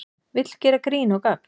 Vill gera grín og gagn